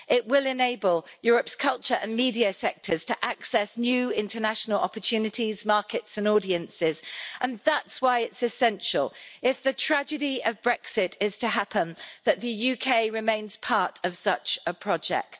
It will enable Europe's culture and media sectors to access new international opportunities, markets and audiences and that's why it's essential, if the tragedy of Brexit is to happen, that the UK remains part of such a project.